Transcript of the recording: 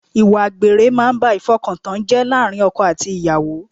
Ìwà àgbèrè máa ń ba ìfọkantán jẹ́ láàárín ọkọ àti ìyàwó